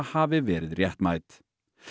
hafi verið réttmæt